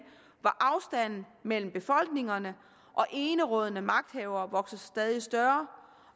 hvor afstanden mellem befolkningerne og enerådende magthavere vokser sig stadig større